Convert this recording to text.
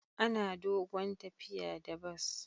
Ana dogon tafiya da bas.